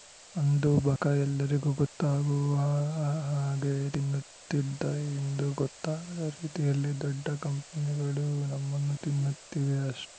ಅಂದು ಬಕ ಎಲ್ಲರಿಗೂ ಗೊತ್ತಾಗುವ ಹಾಗೆ ತಿನ್ನುತ್ತಿದ್ದ ಇಂದು ಗೊತ್ತಾಗದ ರೀತಿಯಲ್ಲಿ ದೊಡ್ಡ ಕಂಪನಿಗಳು ನಮ್ಮನ್ನು ತಿನ್ನುತ್ತಿವೆ ಅಷ್ಟೇ